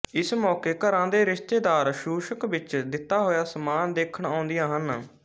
ਇਸ ਮੌਕੇ ਘਰਾਂ ਦੇ ਰਿਸ਼ਤੇਦਾਰ ਸ਼ੂਸ਼ਕ ਵਿੱਚ ਦਿਤਾ ਹੋਇਆ ਸਮਾਨ ਦੇਖਣ ਆਉਦੀਆਂ ਹਨ